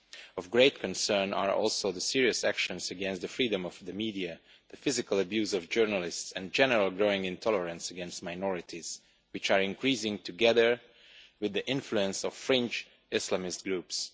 Of great concern are also the serious actions against the freedom of the media, the physical abuse of journalists and general growing intolerance against minorities, which are increasing together with the influence of fringe Islamist groups.